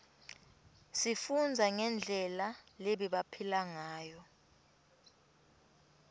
sifundza ngendlela lebebaphila ngayo